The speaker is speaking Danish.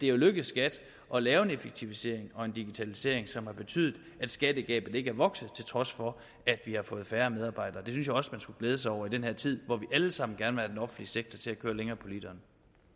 er lykkedes skat at lave en effektivisering og en digitalisering som har betydet at skattegabet ikke er vokset til trods for at vi har fået færre medarbejdere det synes jeg også man skulle glæde sig over i den her tid hvor vi alle sammen gerne vil offentlige sektor til at køre længere på literen